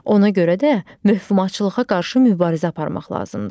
Ona görə də möhumatçılığa qarşı mübarizə aparmaq lazımdır.